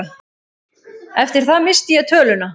Eftir það missti ég töluna.